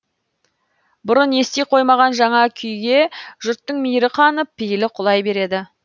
бұрын ести қоймаған жаңа күйге жұрттың мейірі қанып пейілі құлай береді